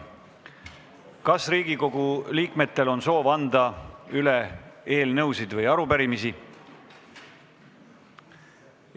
Kas Riigikogu liikmetel on soovi anda üle eelnõusid või arupärimisi?